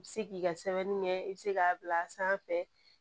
I bɛ se k'i ka sɛbɛnni kɛ i bɛ se k'a bila a sanfɛ